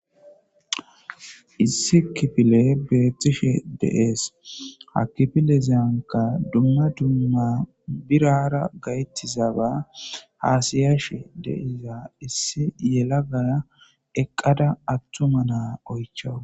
issi kifile beettishe deees hakifile ziyanka dumma dumma birara gayttizaba haasiyashe deiza issi yela gaya eqqada attuma naa oychaw